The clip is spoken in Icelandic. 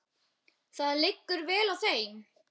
Það liggur vel á þeim.